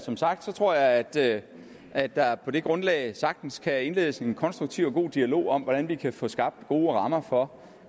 som sagt tror jeg at der at der på det grundlag sagtens kan indledes en konstruktiv og god dialog om hvordan vi kan få skabt gode rammer for